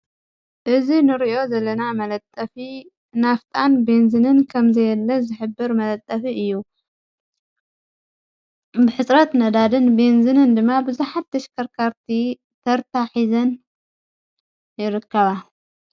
እዝ ንርእዮ ዘለና መለጠፊ ናፍጣን ቤንዝንን ከም ዘየለ ዘኅብር መለጠፊ እዩ ብሕጽረት ነዳድን ቤንዝንን ድማ ብዙኃተሽከርካርቲ ተርታ ኂዘን ይርከባ።